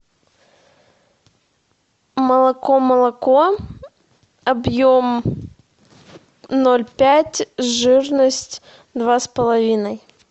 молоко молоко объем ноль пять жирность два с половиной